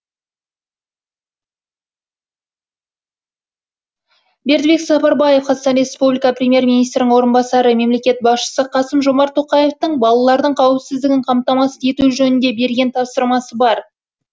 бердібек сапарбаев қазақстан республика премьер министрінің орынбасары мемлекет басшысы қасым жомарт тоқаевтың балалардың қауіпсіздігін қамтамасыз ету жөнінде берген тапсырмасы бар